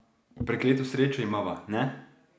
Prekleto srečo imava, ne?